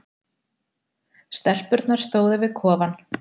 Stelpurnar stóðu við kofann.